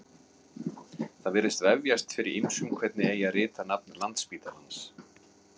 Það virðist vefjast fyrir ýmsum hvernig eigi að rita nafn Landspítalans.